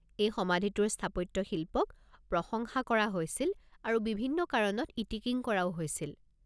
এই সমাধিটোৰ স্থাপত্যশিল্পক প্ৰশংসা কৰা হৈছিল আৰু বিভিন্ন কাৰণত ইতিকিং কৰাও হৈছিল।